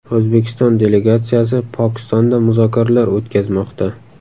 O‘zbekiston delegatsiyasi Pokistonda muzokaralar o‘tkazmoqda.